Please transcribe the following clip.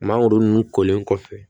Mangoro nun kolen kɔfɛ